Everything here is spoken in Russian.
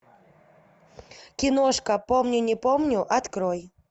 киношка помню не помню открой